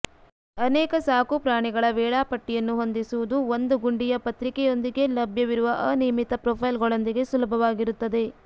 ಅನೇಕ ಸಾಕುಪ್ರಾಣಿಗಳ ವೇಳಾಪಟ್ಟಿಯನ್ನು ಹೊಂದಿಸುವುದು ಒಂದು ಗುಂಡಿಯ ಪತ್ರಿಕಾೊಂದಿಗೆ ಲಭ್ಯವಿರುವ ಅನಿಯಮಿತ ಪ್ರೊಫೈಲ್ಗಳೊಂದಿಗೆ ಸುಲಭವಾಗಿರುತ್ತದೆ